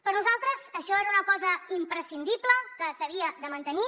per nosaltres això era una cosa imprescindible que s’havia de mantenir